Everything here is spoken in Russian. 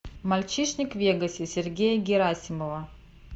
мальчишник в вегасе сергея герасимова